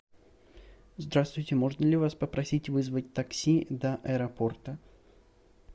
здравствуйте можно ли вас попросить вызвать такси до аэропорта